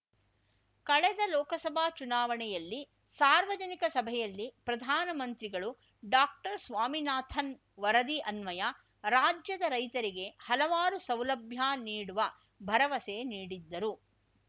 ಕಳೆದ ಲೋಕಸಭಾ ಚುನಾವಣೆಯಲ್ಲಿ ಸಾರ್ವಜನಿಕ ಸಭೆಯಲ್ಲಿ ಪ್ರಧಾನ ಮಂತ್ರಿಗಳು ಡಾಕ್ಟರ್ಸ್ವಾಮಿನಾಥನ್‌ ವರದಿ ಅನ್ವಯ ರಾಜ್ಯದ ರೈತರಿಗೆ ಹಲವಾರು ಸೌಲಭ್ಯ ನೀಡುವ ಭರವಸೆ ನೀಡಿದ್ದರು